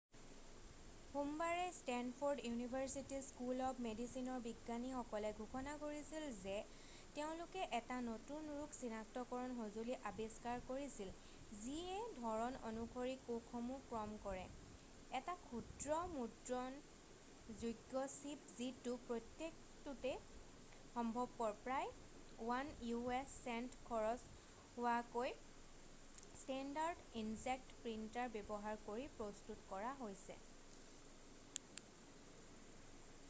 সোমবাৰে Stanford University School of মেডিচিনৰ বিজ্ঞানীসকলে ঘোষণা কৰিছিল যে তেওঁলোকে এটা নতুন ৰোগ চিনাক্তকৰণ সঁজুলি আৱিষ্কাৰ কৰিছিল যিয়ে ধৰণ অনুসৰি কোষসমূহ ক্ৰম কৰে এটা ক্ষুদ্ৰ মুদ্ৰণযোগ্য চিপ যিটো প্ৰত্যেকটোতে সম্ভৱপৰ প্ৰায় 1 u.s. চেণ্ট খৰচ হোৱাকৈ ষ্টেণ্ডাৰ্ড ইনজেক্ট প্ৰিণ্টাৰ ব্যৱহাৰ কৰি প্ৰস্তুত কৰা হৈছে